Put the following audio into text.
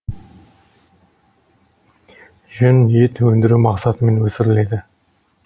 жүн ет өндіру мақсатымен өсіріледі